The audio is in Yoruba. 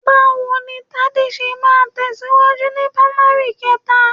Báwo ni Tádé ṣe máa tẹ̀síwájú ni pamari kẹta?